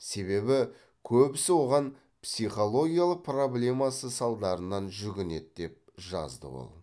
себебі көбісі оған психологиялық проблемасы салдарынан жүгінеді деп жазды ол